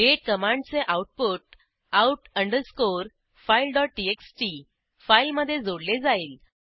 दाते कमांडचे output out अंडरस्कोरफाईलtxt फाईलमधे जोडले जाईल